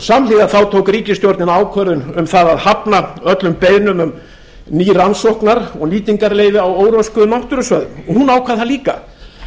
samhliða tók ríkisstjórnin ákvörðun um það að hafna öllum beiðnum um ný rannsóknar og nýtingarleyfi á óröskuðum náttúrusvæðum og hún ákvað það líka